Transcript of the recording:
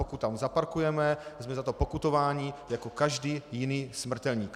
Pokud tam zaparkujeme, jsme za to pokutováni jako každý jiný smrtelník.